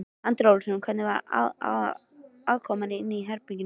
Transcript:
Andri Ólafsson: Hvernig var aðkoman inni í herberginu?